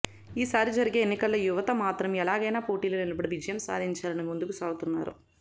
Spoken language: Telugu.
ఈ సారి జరిగే ఎన్నికల్లో యువత మాత్రం ఎలాంగైనా పోటీలో నిలబడి విజయం సాధించాలని ముందుకు సాగుతున్నారు